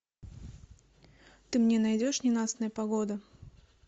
ты мне найдешь ненастная погода